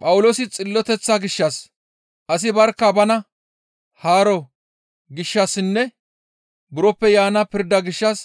Phawuloosi xilloteththa gishshas, asi barkka bana haaro gishshassinne buroppe yaana pirdaa gishshas